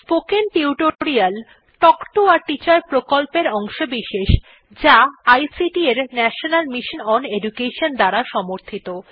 spoken tutorial talk to a teacher প্রকল্পের অংশবিশেষ যা আইসিটি এর ন্যাশনাল মিশন ওন এডুকেশন দ্বারা সমর্থিত